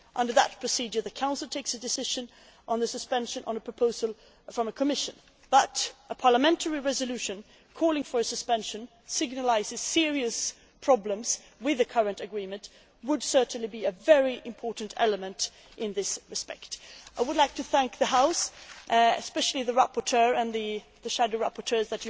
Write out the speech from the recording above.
Under that procedure, the Council takes a decision on suspension on a proposal from the Commission, but a parliamentary resolution calling for a suspension signals serious problems with the current agreement and would certainly be a very important element in this respect. I would like to thank the House, and especially the rapporteur and the shadow rapporteurs,